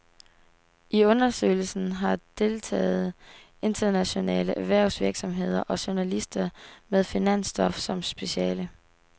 I undersøgelsen har deltaget internationale erhvervsvirksomheder og journalister med finansstof som speciale.